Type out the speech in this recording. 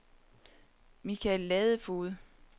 Michael Ladefoged